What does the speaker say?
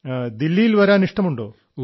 so would you like to visit Delhi